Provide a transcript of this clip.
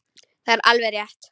Það er alveg rétt.